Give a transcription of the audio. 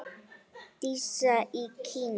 Dísa í Kína.